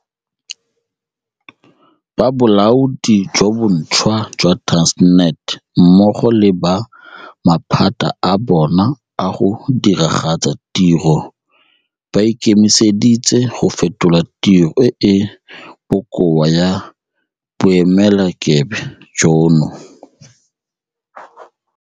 Ba bolaodi jo bontšhwa jwa Transnet mmogo le ba maphata a bona a go diragatsa tiro ba ikemiseditse go fetola tiro e e bokoa ya boemelakepe jono.